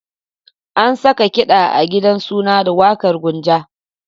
An saka kiɗa a gidan suna da waƙar Gwanja.